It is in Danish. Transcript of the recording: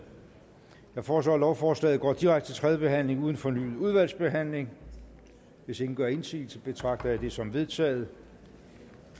jeg foreslår at lovforslaget går direkte til tredje behandling uden fornyet udvalgsbehandling hvis ingen gør indsigelse betragter jeg det som vedtaget